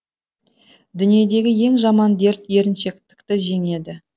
дүниедегі ең жаман дерт еріншектікті жеңеді